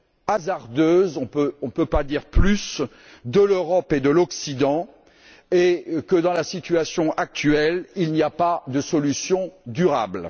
hasardeuse on ne peut pas dire plus de l'Europe et de l'Occident et que, dans la situation actuelle, il n'y a pas de solution durable.